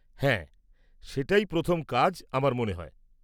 হ্যাঁ, সেটাই প্রথম কাজ, আমার মনে হয়।